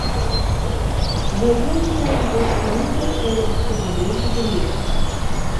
Zaokrožila jih bo sklenitev evropske zaveze za mir.